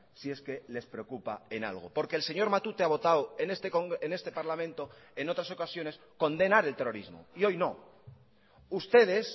si es que les preocupa en algo porque el señor matute ha votado en este parlamento en otras ocasiones condenar el terrorismo y hoy no ustedes